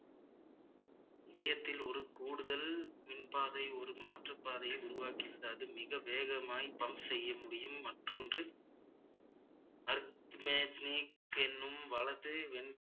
இதயத்தில் ஒரு கூடுதல் மின்பாதை ஒரு மாற்றுப்பாதையை உருவாக்கி விடாது மிக வேகமாய் pump செய்ய முடியும் மற்றொன்று என்னும் வலது என்~